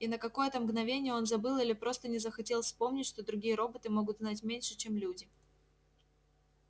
и на какое то мгновение он забыл или просто не захотел вспомнить что другие роботы могут знать меньше чем люди